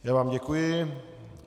Já vám děkuji.